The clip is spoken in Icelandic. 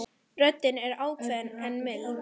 Röddin er ákveðin en mild.